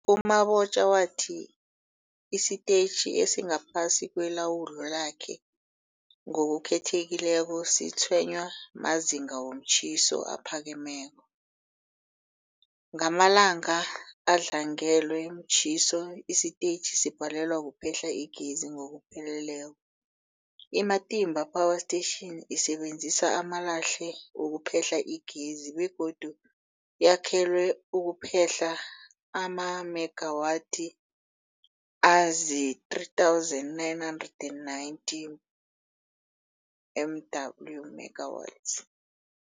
U-Mabotja wathi isitetjhi esingaphasi kwelawulo lakhe, ngokukhethekileko, sitshwenywa mazinga womtjhiso aphakemeko. Ngamalanga adlangelwe mtjhiso, isitetjhi sibhalelwa kuphehla igezi ngokupheleleko. I-Matimba Power Station isebenzisa amalahle ukuphehla igezi begodu yakhelwe ukuphehla amamegawathi azii-3990 MW megawatts.